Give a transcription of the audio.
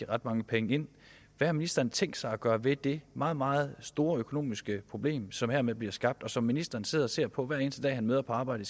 ret mange penge ind hvad har ministeren tænkt sig gøre ved det meget meget store økonomiske problem som hermed bliver skabt og som ministeren sidder og ser på hver eneste dag han møder på arbejde